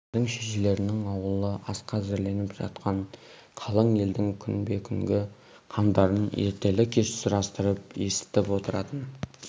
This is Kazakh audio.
абайдың шешелерінің аулы асқа әзірленіп жатқан қалың елдің күнбе-күнгі қамдарын ертелі-кеш сұрастырып есітіп отыратын